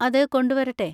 അത് കൊണ്ടുവരട്ടെ?